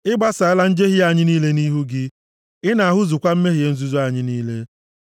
Ị gbasaala njehie anyị niile nʼihu gị. Ị na-ahụzukwa mmehie nzuzo anyị niile.